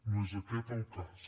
no és aquest el cas